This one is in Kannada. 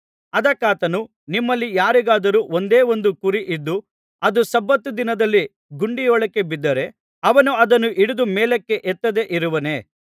ಅದಕ್ಕಾತನು ನಿಮ್ಮಲ್ಲಿ ಯಾರಿಗಾದರೂ ಒಂದೇ ಒಂದು ಕುರಿ ಇದ್ದು ಅದು ಸಬ್ಬತ್ ದಿನದಲ್ಲಿ ಗುಂಡಿಯೊಳಗೆ ಬಿದ್ದರೆ ಅವನು ಅದನ್ನು ಹಿಡಿದು ಮೇಲಕ್ಕೆ ಎತ್ತದೇ ಇರುವನೇ